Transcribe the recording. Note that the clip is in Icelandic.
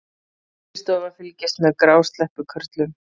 Fiskistofa fylgist með grásleppukörlum